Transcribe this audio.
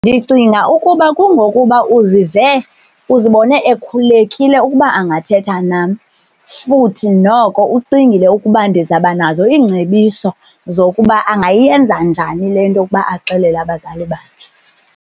Ndicinga ukuba kungokuba uzive uzibone ekhululekile ukuba angathetha nam futhi noko ucingile ukuba ndizawubanazo iingcebiso zokuba angayenza njani le nto ukuba axelele abazali bakhe.